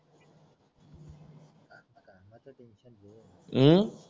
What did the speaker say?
हम्म